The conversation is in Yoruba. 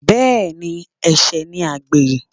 Bẹ́ẹ̀ni, ẹ̀ṣẹ̀ ni àgbèrè.